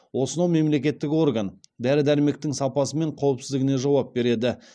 осынау мемлекеттік орган дәрі дәрмектің сапасы мен қауіпсіздігіне жауап береді